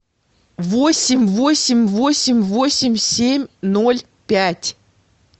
восемь восемь восемь восемь семь ноль пять